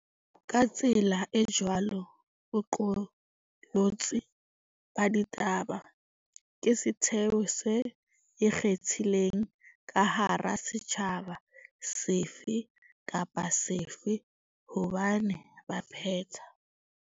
Ka tsela e jwalo, boqolotsi ba ditaba ke setheo se ikgethileng ka hara setjhaba sefe kapa sefe hobane baphetha